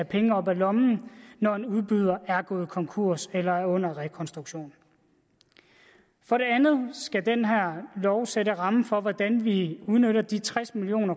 penge op af lommen når en udbyder er gået konkurs eller er under rekonstruktion for det andet skal den her lov sætte rammen for hvordan vi udnytter de tres million